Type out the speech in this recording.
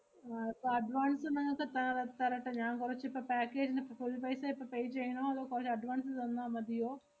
ആഹ് ഇപ്പ advance നിങ്ങക്ക് തര~ തരട്ടെ ഞാൻ? കൊറച്ചിപ്പ package നിപ്പ full paisa ഇപ്പ pay ചെയ്യണോ അതോ കൊറച്ച് advance തന്നാ മതിയോ?